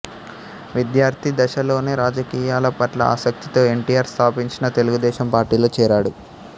విద్యార్థి దశలోనే రాజకీయాల పట్ల ఆసక్తితో ఎన్టీఆర్ స్థాపించిన తెలుగుదేశం పార్టీలో చేరాడు